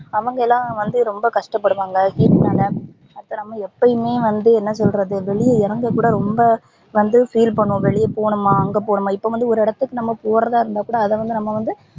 அவங்கலாம் வந்து ரொம்ப கஷ்ட படுவாங்க heat னாலா அது நம்ப எப்பயுமே வந்து என்ன சொல்றது வெளிய இறங்க கூட ரொம்ப வந்து feel பண்ணுவோம் வெளிய போனுமா அங்க போணுமா இப்போ வந்து ஒரு இடத்துக்கு நம்ப போறதா இருந்தா கூட அத வந்து நம்ப வந்து